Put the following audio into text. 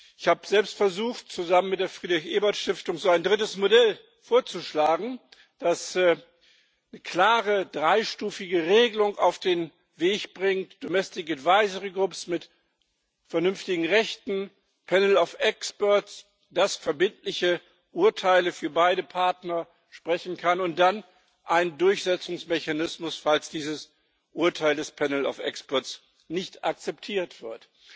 Ich habe selbst versucht, zusammen mit der Friedrich Ebert Stiftung so ein drittes Modell vorzuschlagen, das eine klare dreistufige Regelung auf den Weg bringt, domestic advisory groups mit vernünftigen Rechten, ein panel of experts, das verbindliche Urteile für beide Partner sprechen kann und dann ein Durchsetzungsmechanismus, falls dieses Urteil des panel of experts nicht akzeptiert wird.